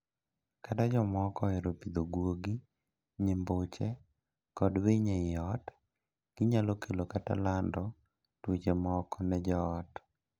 Kata jomoko ohero pidho guogi, nyimbuche, kod winy ei ot, ginyalo kelo kata lando tuoche moko ne joot.